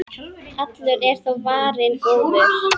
Allur er þó varinn góður.